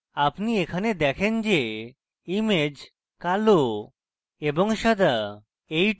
আপনি এখানে দেখেন যে image কালো এবং সাদা